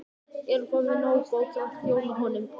Erum við þá nógu góð til að þjóna honum?